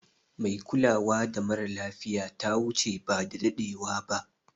Mai kulawa mara lafiya ta wuche ba da dadewa ba.